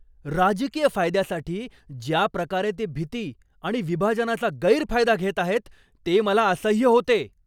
राजकीय फायद्यासाठी ज्या प्रकारे ते भीती आणि विभाजनाचा गैरफायदा घेत आहेत ते मला असह्य होते.